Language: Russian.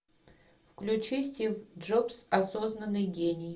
включи стив джобс осознанный гений